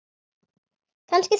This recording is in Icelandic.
Kannski þrjár.